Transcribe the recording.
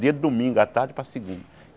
Dia de domingo, a tarde para a segunda.